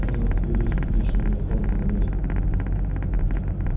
он артиллерист личного фронта наместника